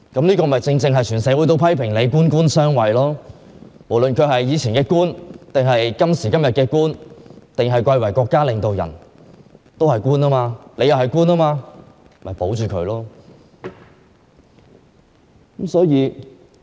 正因如此，整個社會皆批評她官官相護，因為梁振英過去是官員，今天是國家領導人之一，是官員，而鄭若驊也是官員，因此要維護梁振英。